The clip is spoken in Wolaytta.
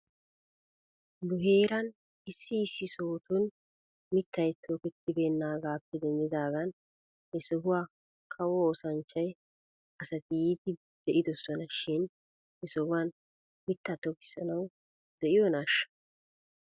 Nu heeran issi issi sohotun mittay toketibeenaagaappe denddidaagan he sohuwaa kawo ossanchcha asati yiidi be'idosona shin he sohuwan mitaa tokissanaw de'iyoonaashsha?